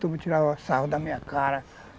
Todo mundo tirava sarro da minha cara.